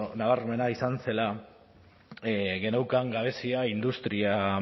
nabarmena izan zela geneukan gabezia industria